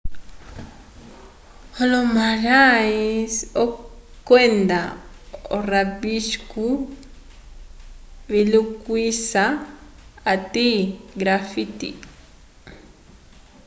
olomurais kwenda o rabisco vilikuhisa ati graffti